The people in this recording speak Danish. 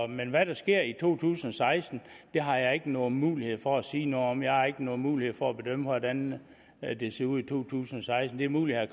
men hvad der sker i to tusind og seksten har jeg ikke nogen mulighed for at sige noget om jeg har ikke nogen mulighed for at bedømme hvordan det ser ud i to tusind og seksten det er muligt at